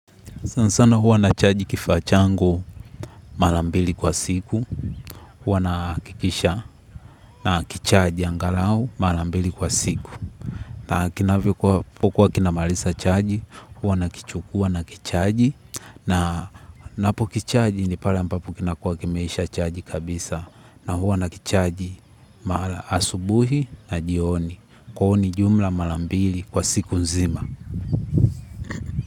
Sana sana huwa nachaji kifaa changu mara mbili kwa siku, huwa nahakikisha na kichaji angalau mara mbili kwa siku. Na kinavyokuwa kinamalisa chaji, huwa nakichukua nakichaji na ninapokichaji ni pale ambapo kinakua kimeisha chaji kabisa na huwa nakichaji asubuhi na jioni. Kwahyo ni jumla mara mbili kwa siku nzima.